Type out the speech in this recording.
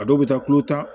A dɔw bɛ taa kulo ta